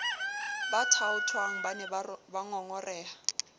ba thaothwang ba ne bangongoreha